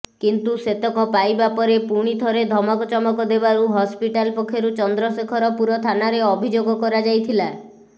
କିନ୍ତୁ ସେତକ ପାଇବା ପରେ ପୁଣି ଥରେ ଧମକଚମକ ଦେବାରୁ ହସ୍ପିଟାଲ୍ ପକ୍ଷରୁ ଚନ୍ଦ୍ରଶେଖରପୁର ଥାନାରେ ଅଭିଯୋଗ କରାଯାଇଥିଲା